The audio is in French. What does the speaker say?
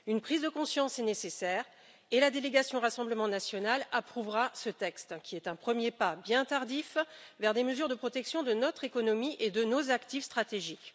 Une prise de conscience est nécessaire et la délégation Rassemblement national approuvera ce texte qui est un premier pas, bien tardif, vers des mesures de protection de notre économie et de nos actifs stratégiques.